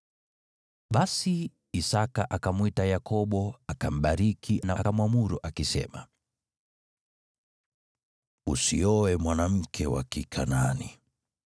Basi Isaki akamwita Yakobo, akambariki na akamwamuru, akisema, “Usioe mwanamke wa Kikanaani.